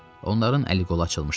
Onların əl-qolu açılmışdı.